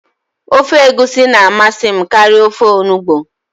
Ofe egusi na amasị m karịa ofe onugbụ